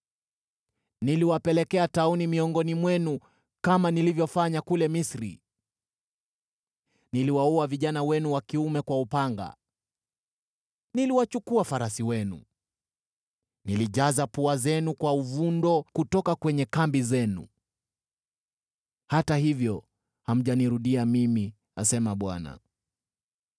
“Niliwapelekea tauni miongoni mwenu kama nilivyofanya kule Misri. Niliwaua vijana wenu wa kiume kwa upanga, niliwachukua farasi wenu. Nilijaza pua zenu kwa uvundo kutoka kwenye kambi zenu, hata hivyo hamjanirudia mimi,” asema Bwana .